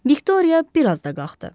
Viktoriya bir az da qalxdı.